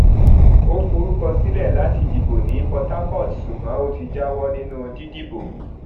ó forúkọ sílẹ láti dìbò ní port harcourt ṣùgbọn ó ti jáwọ nínú dídìbò